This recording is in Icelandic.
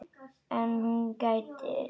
En hún gætir sín alltaf.